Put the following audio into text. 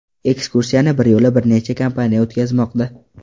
Ekskursiyani biryo‘la bir necha kompaniya o‘tkazmoqda.